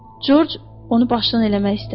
Corc onu başından eləmək istədi.